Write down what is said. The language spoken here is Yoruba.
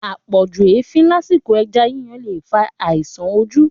Àpọ̀jù efin lásìkò ẹja yíyan le fa àisàn ojú